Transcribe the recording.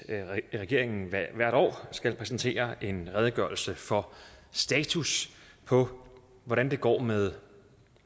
regeringen hvert år skal præsentere en redegørelse for status på hvordan det går med